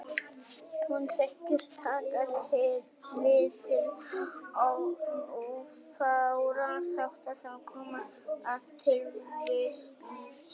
Hún þykir taka tillit til of fárra þátta sem koma að tilvist lífs.